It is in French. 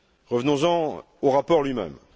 Revenons en au rapport lui même.